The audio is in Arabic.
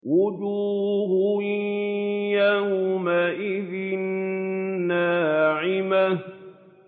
وُجُوهٌ يَوْمَئِذٍ نَّاعِمَةٌ